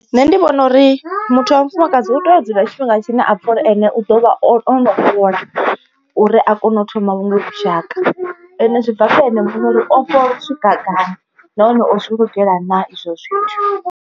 Nṋe ndi vhona uri muthu wa mufumakadzi u tea u dzula tshifhinga tshine a pfa uri ene u ḓo vha o no fhola uri a kone u thoma vhuṅwe vhushaka. Ende zwi bva kha ene muṋe uri o fhola u swika gai, nahone o zwi lugela na izwo zwithu.